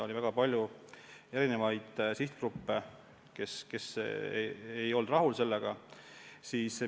Oli väga palju erinevaid sihtgruppe, kes ei olnud sellega rahul.